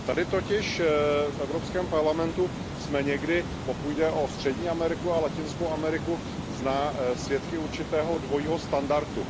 Tady totiž, v Evropském parlamentu, jsme někdy, pokud jde o Střední Ameriku a Latinskou Ameriku, svědky určitého dvojího standardu.